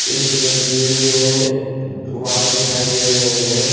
इस तस्वीर में वॉल दिखाई दे रहे हैं।